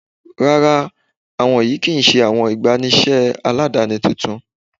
Ràrà, awọn ìyẹn kíí ṣẹ̀ awọn ìgbàníṣé aládánì tuntun.